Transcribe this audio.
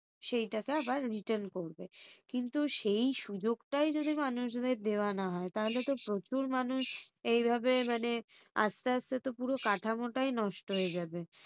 সেই টাকা আবার return করবে। কিন্তু সেই সুযোগটাই যদি মানুষজনকে দেওয়া না হয় তাহলে তো প্রচুর মানুষ এইভাবে মানে আস্তে আস্তে পুরো কাঠামোটাই নষ্ট হয়ে যাবে।